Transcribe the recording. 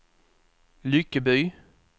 Lyckeby